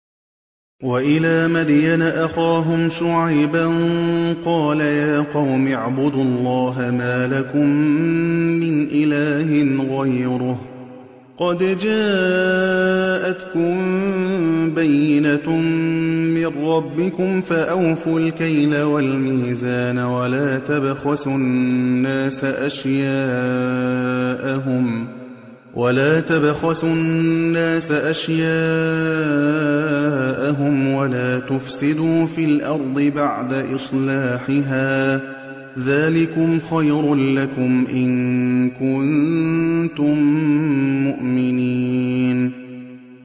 وَإِلَىٰ مَدْيَنَ أَخَاهُمْ شُعَيْبًا ۗ قَالَ يَا قَوْمِ اعْبُدُوا اللَّهَ مَا لَكُم مِّنْ إِلَٰهٍ غَيْرُهُ ۖ قَدْ جَاءَتْكُم بَيِّنَةٌ مِّن رَّبِّكُمْ ۖ فَأَوْفُوا الْكَيْلَ وَالْمِيزَانَ وَلَا تَبْخَسُوا النَّاسَ أَشْيَاءَهُمْ وَلَا تُفْسِدُوا فِي الْأَرْضِ بَعْدَ إِصْلَاحِهَا ۚ ذَٰلِكُمْ خَيْرٌ لَّكُمْ إِن كُنتُم مُّؤْمِنِينَ